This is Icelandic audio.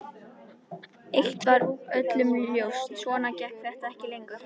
Eitt var öllum ljóst: Svona gekk þetta ekki lengur.